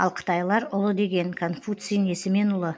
ал қытайлар ұлы деген конфуций несімен ұлы